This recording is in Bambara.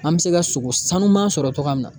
An bɛ se ka sogo sanuman sɔrɔ cogoya min na